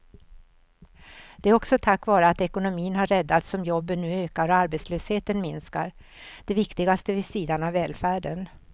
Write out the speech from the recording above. Det är också tack vare att ekonomin har räddats som jobben nu ökar och arbetslösheten minskar, det viktigaste vid sidan av välfärden.